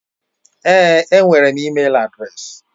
Èé, enwere m ịmel adreesị.